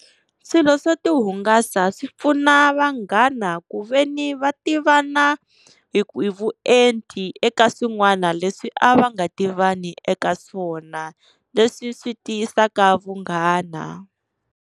Swilo swo ti hungasa swi pfuna vanghana ku veni va tivana hi hi vuenti eka swin'wana leswi a va nga tivani eka swona, leswi swi tiyisaka vunghana.